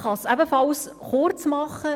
Ich kann es ebenfalls kurz machen.